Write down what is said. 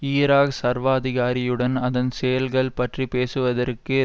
Iraq சர்வாதிகாரியுடன் அதன் செயல்கள் பற்றி பேசுவதற்கு